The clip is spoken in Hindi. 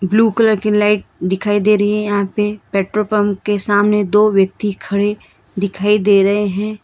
ब्ल्यू कलर की लाइट दिखाई दे रही है यहां पे पेट्रोल पंप के सामने दो व्यक्ति खड़े दिखाई दे रहे है।